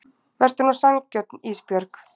Vertu nú sanngjörn Ísbjörg.